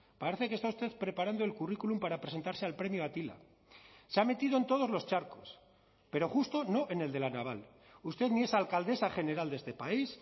parece que está usted preparando el currículum para presentarse al premio atila se ha metido en todos los charcos pero justo no en el de la naval usted ni es alcaldesa general de este país